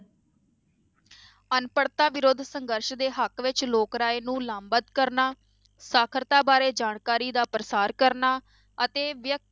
ਅਨਪੜ੍ਹਤਾ ਵਿਰੋਧ ਸੰਘਰਸ਼ ਦੇ ਹੱਕ ਵਿੱਚ ਲੋਕ ਰਾਏ ਨੂੰ ਲਾਭਬੰਦ ਕਰਨਾ, ਸਾਖ਼ਰਤਾ ਬਾਰੇ ਜਾਣਕਾਰੀ ਦਾ ਪ੍ਰਸਾਰ ਕਰਨਾ ਅਤੇ ਵਿਅਕ~